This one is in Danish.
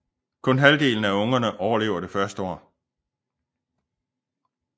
Kun halvdelen af ungerne overlever det første år